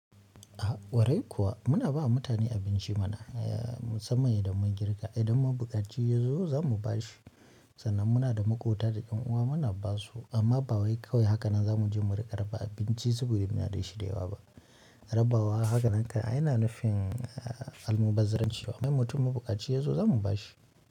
A kwarai kuwa muna bama mutane abinci mana musamman idan mun girka idan mabukaci yazo zamu bashi sannan muna da makota da yan uwa muna basu amma bawai kawai hakanan zamuje mu rika raba abinci saboda muna da shi da yawa ba. Rabawa hakannan kai ai yana nufin almubazzaranci idan mutum ma bukaci yazo zamu bashi.